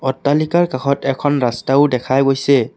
অট্টালিকাৰ কাষত এখন ৰাস্তাও দেখা গৈছে।